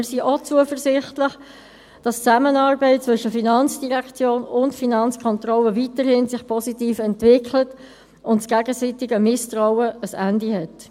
Wir sind auch zuversichtlich, dass sich die Zusammenarbeit zwischen FIN und Finanzkontrolle weiterhin positiv entwickelt und das gegenseitige Misstrauen ein Ende hat.